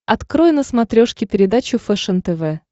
открой на смотрешке передачу фэшен тв